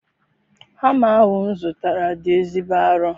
Hama ahụ m zụtara dị ezigbo arọ.